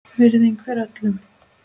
Virðing fyrir öllum.